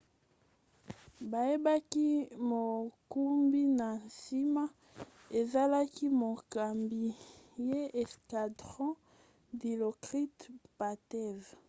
bayebaki mokumbi na nsima ezalaki mokambi ya escadron dilokrit pattavee